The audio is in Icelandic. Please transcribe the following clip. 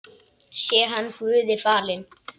Sé hann Guði falinn.